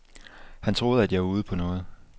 Han troede, at jeg var ude på noget.